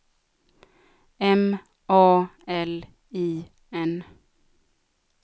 M A L I N